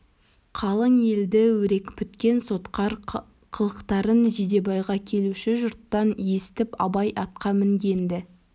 қалың елді өрекпіткен сотқар қылықтарын жидебайға келуші жұрттан есітіп абай атқа мінген-ді